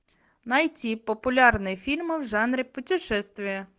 найти популярные фильмы в жанре путешествия